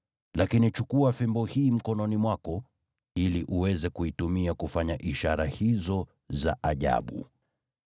Lakini chukua fimbo hii mkononi mwako ili uweze kuitumia kufanya ishara hizo za ajabu.”